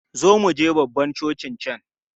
Zo muje babban cocin can!